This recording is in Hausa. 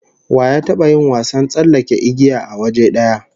Wa ya taba yin wasan tsallake igiya a waje daya?